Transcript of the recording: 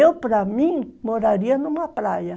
Eu, para mim, moraria numa praia.